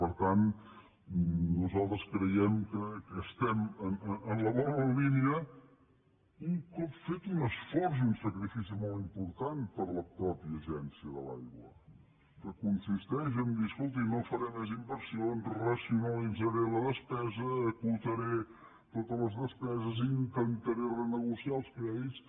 per tant nosaltres creiem que estem en la bona línia un cop fet un esforç i un sacrifici molt important per la mateixa agència de l’aigua que consisteix a dir escolti no faré més inversions racionalitzaré la despesa acotaré totes les despeses intentaré renegociar els crèdits